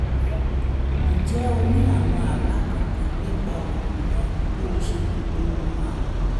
ǹjẹ́ o ní àwọn àbá kankan nípa ọ̀nà yẹn bó o ṣe mọ̀ pé ó máa